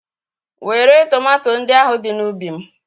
Wèré tomato ndị ahụ dị n'ubi m.